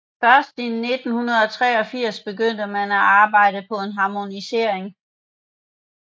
Først fra 1983 begyndte man at arbejde på en harmonisering